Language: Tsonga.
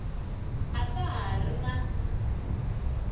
a swa ha ri na